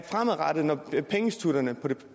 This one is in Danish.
fremadrettet at når pengeinstitutterne på det